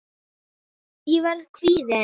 Ég verð kvíðin.